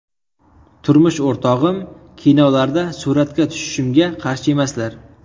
Turmush o‘rtog‘im kinolarda suratga tushishimga qarshi emaslar.